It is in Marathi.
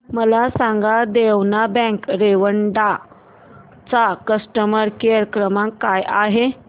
मला सांगा देना बँक रेवदंडा चा कस्टमर केअर क्रमांक काय आहे